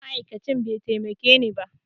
Ma'aikacin bai taimakeni ba